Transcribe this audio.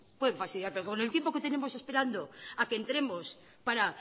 pueden fastidiar pero con el tiempo que tenemos esperando a que entremos para